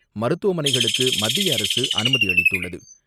மருத்துவமனைகளுக்குமத்திய அரசு அனுமதிஅளித்துள்ளது.